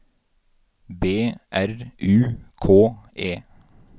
B R U K E